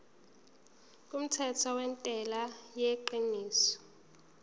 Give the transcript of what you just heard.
kumthetho wentela yengeniso